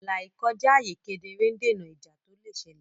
ààlà ìkọjá ààyè kedere ń dènà ìjà tó lè ṣẹlẹ̀.